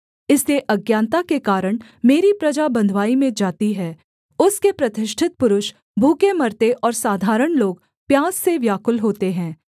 इसलिए अज्ञानता के कारण मेरी प्रजा बँधुवाई में जाती है उसके प्रतिष्ठित पुरुष भूखे मरते और साधारण लोग प्यास से व्याकुल होते हैं